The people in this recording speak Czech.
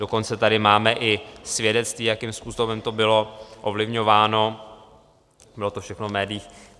Dokonce tady máme i svědectví, jakým způsobem to bylo ovlivňováno, bylo to všechno v médiích.